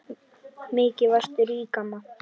Mikið varstu rík amma.